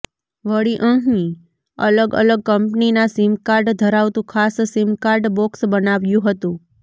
વળી અંહી અલગ અલગ કંપનીના સિમકાર્ડ ધરાવતું ખાસ સિમકાર્ડ બોક્સ બનાવ્યું હતું